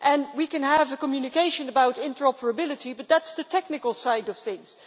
We can have a communication about interoperability, but that is the technical side of things.